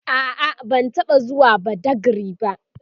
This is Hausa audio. a'a ban taɓa zuwa badagry ba